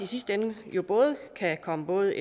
sidste ende kan komme både